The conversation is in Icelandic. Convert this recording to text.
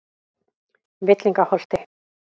Villingaholti